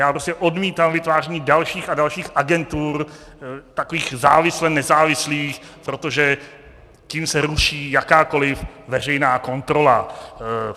Já prostě odmítám vytváření dalších a dalších agentur, takových závisle nezávislých, protože tím se ruší jakákoli veřejná kontrola.